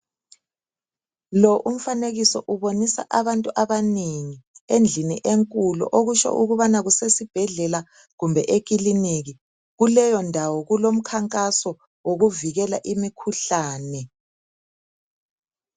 Lo umfanekiso ubonisa abantu abanengi endlini enkulu okutsho ukubana kusesibhedlela kumbe ekilinika .Kuleyondawo kulomkhankaso wokuvikela imikhuhlane.